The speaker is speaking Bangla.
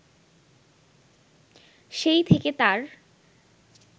সেই থেকে তার